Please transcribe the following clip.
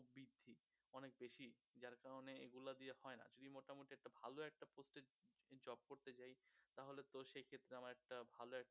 অনেক বেশি যার কারণে এইগুলা দিয়ে হয় না যদি মোটামোটি একটা ভালো একটা post এ job করতে যাই তাহলেতো সেক্ষেত্রে আমার একটা ভালো একটা